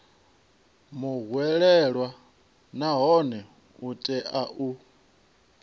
muhwelelwa nahone u tea u